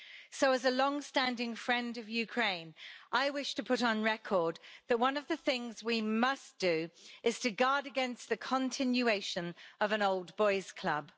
So, as a long standing friend of Ukraine, I wish to put on record that one of the things we must do is to guard against the continuation of an old boys' club.